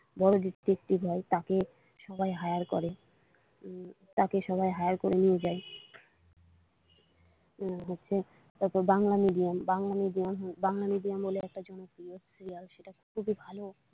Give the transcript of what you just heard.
বড়ো detective হয় তাকে সবাই হায়ার করে তাকে সবাই হায়ার করে নিয়ে যায় হচ্ছে Bangla medium Bangla medium Bangla medium বলে একটা জনপ্রিয় সিরিয়াল সেটা খুবই ভালো।